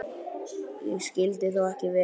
Það skyldi þó ekki vera.